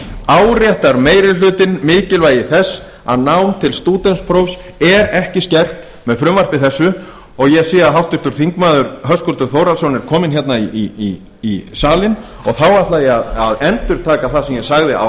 áréttar meiri hlutinn mikilvæg þess að nám til stúdentsprófs er ekki skert með frumvarpi þessu og ég sé að háttvirtur þingmaður höskuldur þórhallsson er kominn í salinn og þá ætla ég að endurtaka það sem ég sagði